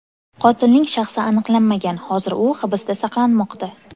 Qotilning shaxsi aniqlanmagan, hozir u hibsda saqlanmoqda.